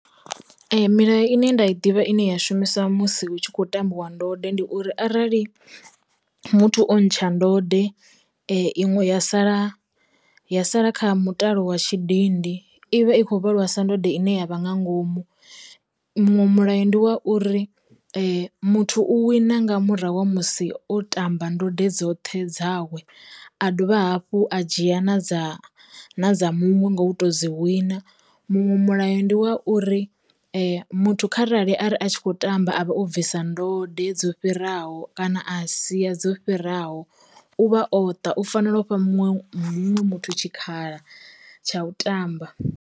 Milayo ine nda i ḓivha ine ya shumiswa musi hu tshi khou tambiwa ndode ndi uri, arali muthu o ntsha ndode iṅwe ya sala ya sala kha mutalo wa tshidindi, i vha i kho vhalwa sa ndode ine ya vha nga ngomu. Muṅwe mulayo ndi wa uri muthu u wina nga murahu ha musi o ṱamba ndode dzoṱhe dzawe a dovha hafhu a dzhia na dza na dza muṅwe nga u to dzi wina, muṅwe mulayo ndi wa uri muthu kharali a ri a tshi kho tamba avha o bvisa ndode dzo fhiraho kana a sia dzo fhiraho, u vha o ṱa u fanela u fha muṅwe muṅwe muthu tshikhala tsha u tamba.